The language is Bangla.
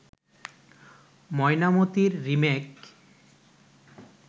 'ময়নামতি'র রিমেক